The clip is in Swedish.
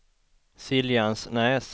Siljansnäs